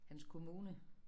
Hans kommune